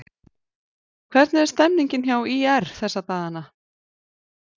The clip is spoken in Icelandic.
Hvernig er stemningin hjá ÍR þessa dagana?